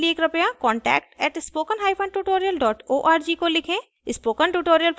अधिक जानकारी के लिए कृपया contact @spokentutorial org को लिखें